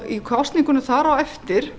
í kosningunum þar á eftir